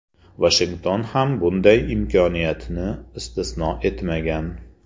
Vashington ham bunday imkoniyatni istisno etmagan.